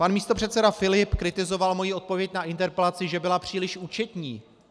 Pan místopředseda Filip kritizoval moji odpověď na interpelaci, že byla příliš účetní.